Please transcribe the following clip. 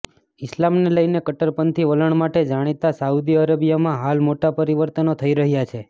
ઈસ્લામને લઈને કટ્ટરપંથી વલણ માટે જાણીતા સાઉદી અરેબિયામાં હાલ મોટા પરિવર્તનો થઈ રહ્યા છે